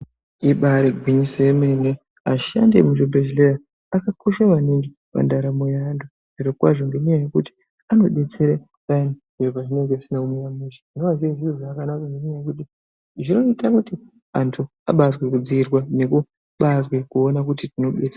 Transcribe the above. Ibari gwinyiso yemene ashandi emuzvibhedhleya akakosha maningi mundaramo yaantu zvirokwazvo ngenyaya yekuti anodetsera payani zviro pazvinenge zvisina kumira mushe zvinova zviri zviro zvakanaka ngenyaya yekuti zvinoita kuti antu abaazwe kudziirwa nekubaazwe kuona kuti tinodetse.